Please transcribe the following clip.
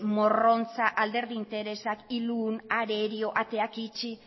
morrontza alderdi interesak ilun arerio ateak itxi